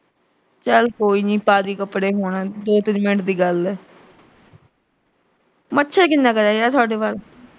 ਚਲ ਕੋਈ ਨੀਂ ਪਾਲੀਂ ਕੱਪੜੇ ਹੁਣ, ਦੋ ਤਿੰਨ ਮਿੰਟ ਦੀ ਗੱਲ ਆ ਮੱਛਰ ਕਿੰਨਾ ਕੁ ਰਹਿ ਗਿਆ ਤੁਹਾਡੇ ਵੱਲ।